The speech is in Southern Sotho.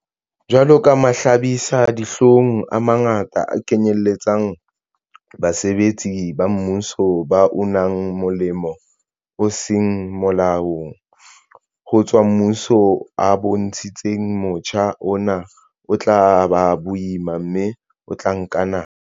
Jwalo ka mahlabisa-dihlong a mangata a kenyeletsang basebetsi ba mmuso ba unang molemo o seng molaong ho tswa mmusong a bontshitse, motjha ona o tla ba boima mme o tla nka nako.